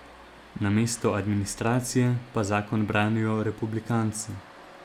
Namesto administracije pa zakon branijo republikanci.